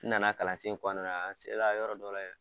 U nana kalan sen kɔnɔna na. An se la yɔrɔ dɔ la yɛrɛ